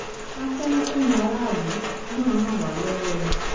a fẹ́ kẹ́yin aráàlú náà ràn wá lọ́wọ́ ni